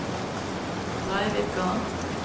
Breivika